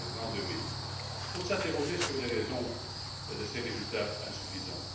2000. Il faut s'interroger sur les raisons de ces résultats insuffisants.